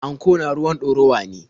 Anko na ruwan ɗorawa ne.